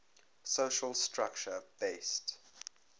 social structure based